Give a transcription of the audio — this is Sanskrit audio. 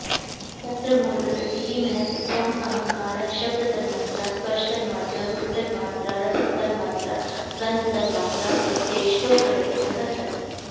तत्र मूलप्रकृतिः महत्तत्त्वम् अहङ्कारः शब्दतन्मात्रा स्पर्शतन्मात्रा रूपतन्मात्रा रसतन्मात्रा गन्धतन्मात्रा चेत्यष्टौ प्रकृतयः सन्ति